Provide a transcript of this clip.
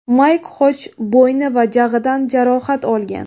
Mayk Xoj bo‘yni va jag‘idan jarohat olgan.